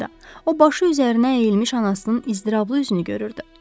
O başı üzərinə əyilmiş anasının iztirablı üzünü görürdü.